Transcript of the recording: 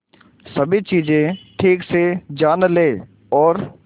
सभी चीजें ठीक से जान ले और